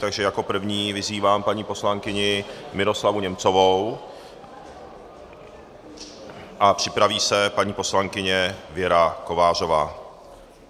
Takže jako první vyzývám paní poslankyni Miroslavu Němcovou a připraví se paní poslankyně Věra Kovářová.